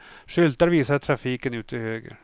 Skyltar visar trafiken ut till höger.